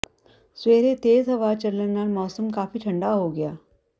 ਸਵੇਰੇ ਤੇਜ ਹਵਾ ਚੱਲਣ ਨਾਲ ਮੌਸਮ ਕਾਫ਼ੀ ਠੰਡਾ ਹੋ ਗਿਆ